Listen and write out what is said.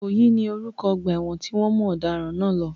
Ìkòyí ni orúkọ ọgbà ẹ̀wọ̀n tí wọ́n mú ọ̀daràn náà lọ.